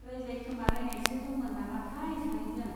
रायज्लायखोमालायनायसो दंमोन नामाथाय सानैजों।